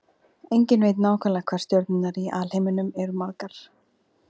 Enginn veit nákvæmlega hvað stjörnurnar í alheiminum eru margar.